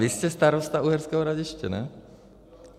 Vy jste starosta Uherského Hradiště, ne?